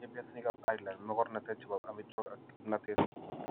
tinye piasinikap Ireland mogornateet ne po amitwogik ak kimnateet.